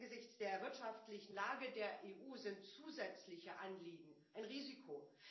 Angesichts der wirtschaftlichen Lage der EU sind zusätzliche Anliegen ein Risiko.